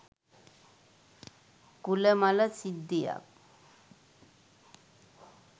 කූල මල සිද්ධියක්